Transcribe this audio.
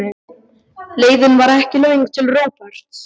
Leiðin var ekki löng til Róberts.